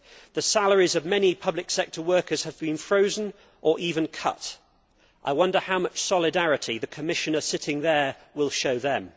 The salaries of many public sector workers have been frozen, or even cut I wonder how much solidarity the Commissioner sitting there will show them.